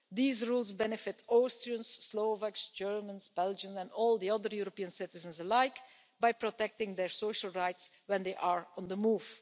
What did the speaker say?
These rules benefit Austrians, Slovaks, Germans, Belgians and all the other European citizens alike by protecting their social rights when they are on the move.